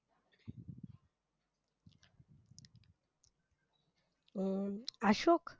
अं Ashok?